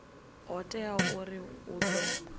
ho teaho uri hu ḓo